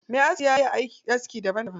Me aski ya iya aski daban daban.